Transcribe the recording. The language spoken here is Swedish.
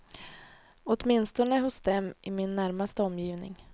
Åtminstone hos dem i min närmaste omgivning.